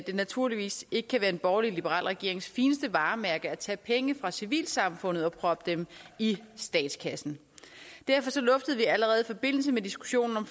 det naturligvis ikke kan være en borgerlig liberal regerings fineste varemærke at tage penge fra civilsamfundet og proppe dem i statskassen derfor luftede vi allerede i forbindelse med diskussionen om